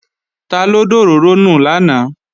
Taló dòróró nù lánàá?